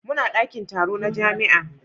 Muna dakin taro na jami'a.